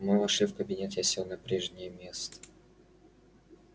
мы вошли в кабинет я сел на прежнее место